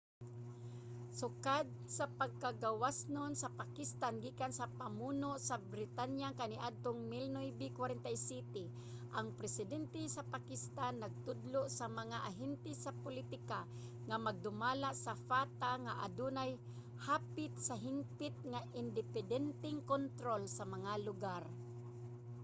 sukad sa pagkagawasnon sa pakistan gikan sa pamuno sa britanya kaniadtong 1947 ang presidente sa pakistan nagtudlo sa mga ahente sa pulitika nga magdumala sa fata nga adunay hapit sa hingpit nga independenteng kontrol sa mga lugar